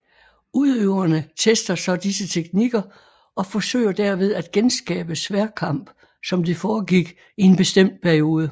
Udøverne tester så disse teknikker og forsøger derved at genskabe sværdkamp som det foregik i en bestemt periode